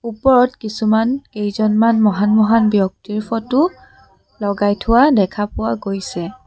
ওপৰত কিছুমান কেইজনমান মহান মহান ব্যক্তিৰ ফটো লগাই থোৱা দেখা পোৱা গৈছে।